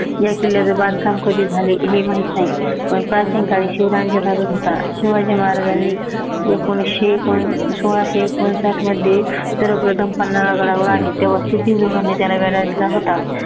ह्या किल्ल्याचे बांधकाम कधी झाले हे माहित नाही. पण प्राचीन काळी शिवरायांच्या ताब्यात होता शिवाजी महाराजांनी एकोनविशे एकोण सोळाशे एकोणसाठ मध्ये सर्वप्रथम पन्हाळा गडावर आले, तेव्हा त्याला वेढा दिला होता.